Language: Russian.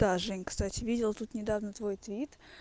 да жень кстати видела тут недавно твой твит